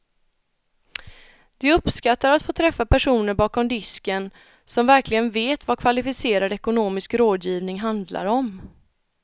De uppskattar att få träffa personer bakom disken som verkligen vet vad kvalificerad ekonomisk rådgivning handlar om.